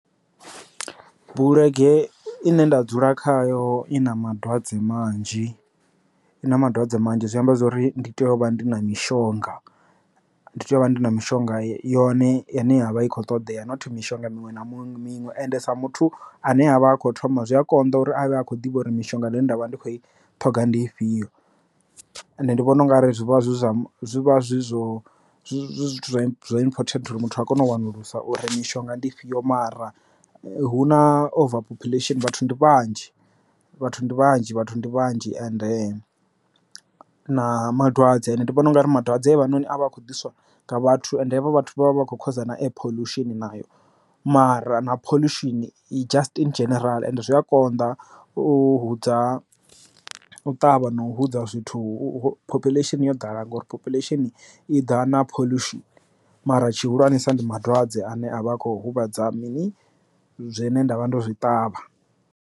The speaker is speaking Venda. Bulege i ne nda dzula khayo i na madwadze manzhi i na madwadze manzhi zwi amba zwori ndi tea u vha ndi na mishonga, ndi tea u vha ndi na mishonga yone i ne ya vha i khou ṱoḓea not mishonga muṅwe na muṅwe miṅwe, ende sa muthu ane avha a kho thoma zwi a konḓa uri avhe akho ḓivha uri mishonga i ne nda vha ndi khou i ṱhoga ndi ifhio. Ende ndi vhona ungari zwivha zwi zwa zwi vha zwi zwo zwi important uri muthu a kone u wanulusa uri mishonga ndi ifhio mara hu na over population vhathu ndi vhanzhi vhathu ndi vhanzhi vhathu ndi vhanzhi and na madwadze ane ndi vhona u nga ri madwadze vha noni avha akho ḓiswa nga vhathu ende havha vhathu vha vha vha khosa na air pholushini nayo mara na pholushini just in dzhenerala and zwi a konḓa u hudza u ṱavha no hudza zwithu phophuleshini yo ḓala ngori phophuleshini i ḓa na pholushini mara tshihulwane sa ndi madwadze ane avha a kho huvhadza mini zwi ne nda vha ndo zwi ṱavha.